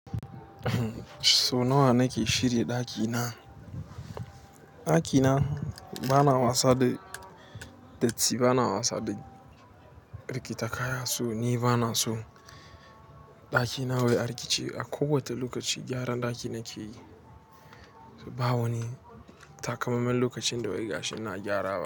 So nawa nake shirya ɗakina? Ɗakina bana wasa da datti, bana wasa da rikita kaya, so ni bana so ɗakina wai a riƙe ce. A kowata lokaci gyaran ɗaki nake yi. Ba wani takamaiman lokacin da wai gashi ina gyara ba.